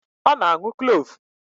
Ọ na-aṅụ Kloovu